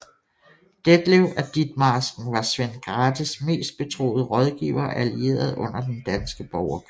Detlev af Ditmarsken var Svend Grathes mest betroede rådgiver og allierede under Den danske Borgerkrig